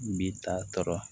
Bi taa tɔɔrɔ